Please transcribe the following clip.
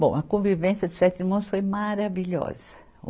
Bom, a convivência dos sete irmãos foi maravilhosa.